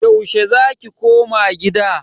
Yaushe za ki koma gida?